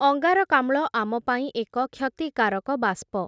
ଅଙ୍ଗାରକାମ୍ଳ ଆମ ପାଇଁ ଏକ କ୍ଷତିକାରକ ବାଷ୍ପ ।